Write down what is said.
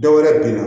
Dɔwɛrɛ bɛ na